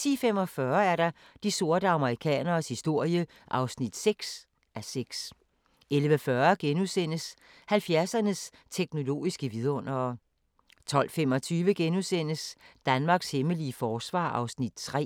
10:45: De sorte amerikaneres historie (6:6) 11:40: 70'ernes teknologiske vidundere * 12:25: Danmarks hemmelige forsvar (3:4)*